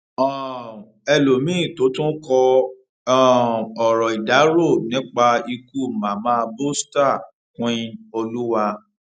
um ẹlọmìnín tó tún kọ um ọrọ ìdárò nípa ikú mama bosta queenoluwa